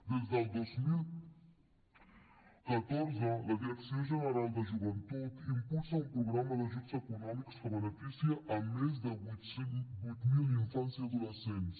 des del dos mil catorze la direcció general de joventut impulsa un programa d’ajuts econòmics que beneficia a més de vuit mil infants i adolescents